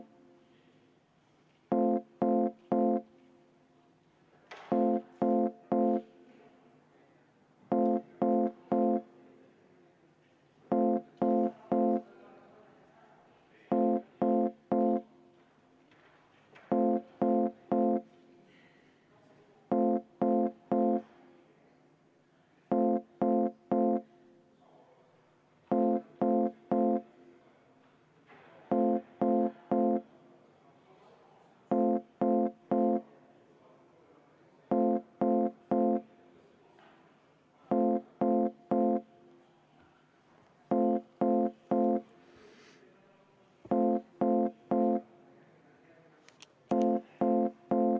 V a h e a e g